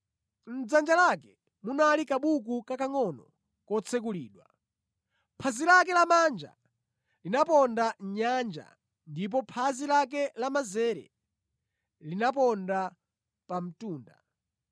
Mʼdzanja lake munali kabuku kakangʼono kotsekulidwa. Phazi lake lamanja linaponda mʼnyanja ndipo phazi lake lamanzere linaponda pa mtunda.